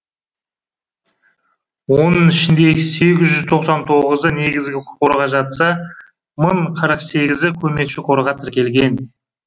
оның ішінде сегіз жүз тоқсан тоғызы негізгі қорға жатса мың қырық сегізі көмекші қорға тіркелген